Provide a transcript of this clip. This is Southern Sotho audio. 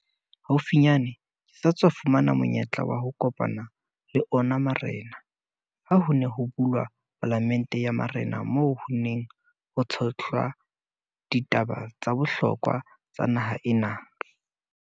Haufinyane ke sa tswa fumana monyetla wa ho kopana le ona marena ha ho ne ho bulwa Palamente ya Marena moo ho neng ho tshohlwa ditaba tsa bohlokwa tsa naha ena.